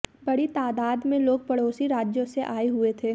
बड़ी तादाद में लोग पड़ोसी राज्यों से आए हुए थे